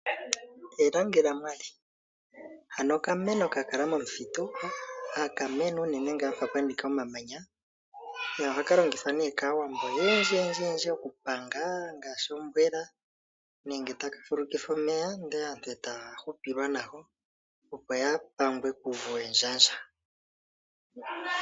Ekangelamali okameno ka kala momuthitu haka mene unene mpoka puna omamanya nohaka longithwa kaawambo oyendji ngaashi okupanga ombwela nenge omeya gako taga fulukithwa, opo aantu ya hupilwe nago ya pangwe kuuvu wendjandja.